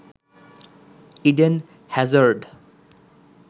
Eden Hazard